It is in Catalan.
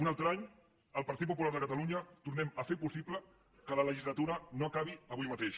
un altre any el partit popular de catalunya tornem a fer possible que la legislatura no acabi avui mateix